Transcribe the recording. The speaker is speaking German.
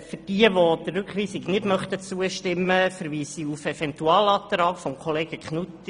Für jene, welche der Rückweisung nicht zustimmen möchten, verweise ich auf den Eventualantrag von Kollege Knutti.